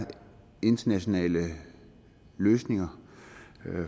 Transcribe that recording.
internationale løsninger